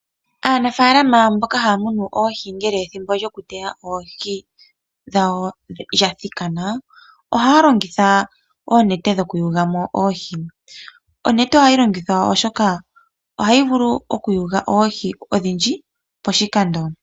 Aanafaalama mboka haya munu oohi ngele ethimbo lyokuteya oohi dhawo lya thikana, ohaya longitha oonete dhokuyula mo oohi. Onete ohayi longithwa, oshoka ohayi vulu okuyula oohi odhindji poshikando.